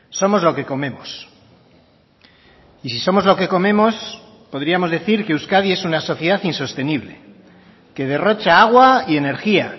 somos lo que comemos y si somos lo que comemos podríamos decir que euskadi es una sociedad insostenible que derrocha agua y energía